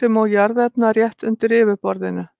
sem og jarðefna rétt undir yfirborðinu.